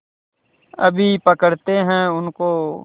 अभी पकड़ते हैं उनको